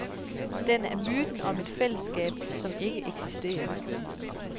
Den er myten om et fællesskab, som ikke eksisterer.